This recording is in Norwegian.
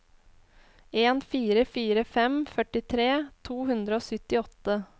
en fire fire fem førtitre to hundre og syttiåtte